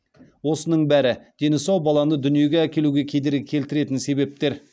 осының бәрі дені сау баланы дүниеге әкелуге кедергі келтіретін себептер